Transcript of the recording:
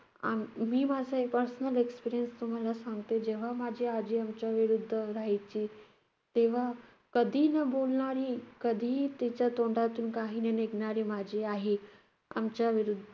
आम~ मी माझा एक personal experience तुम्हाला सांगते. जेव्हा माझी आजी आमच्याविरुद्ध ओरडायची, तेव्हा कधीही न बोलणारी, कधीही तिच्या तोंडातून काहीही न निघणारी माझी आई आमच्याविरुद्ध